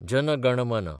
जन गण मन